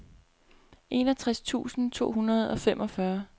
enogtres tusind to hundrede og femogfyrre